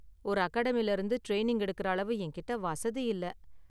ஒரு அகாடமியில இருந்து ட்ரெயினிங் எடுக்குற அளவு என்கிட்ட வசதி இல்ல.